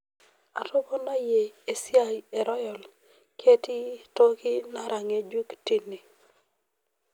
atoponayie esia ee royal, ketii toki nara ng'ejuk tine